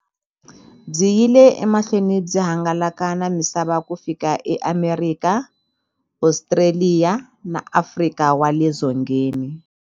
Byi yile emahlweni byi hangalaka na misava ku fika eAmerika, Ostraliya na Afrika wale dzongeni.